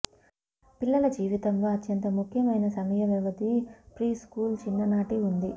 పిల్లల జీవితంలో అత్యంత ముఖ్యమైన సమయ వ్యవధి ప్రీస్కూల్ చిన్ననాటి ఉంది